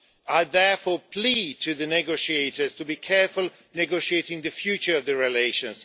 I therefore plead with the negotiators to be careful negotiating the future of the relations.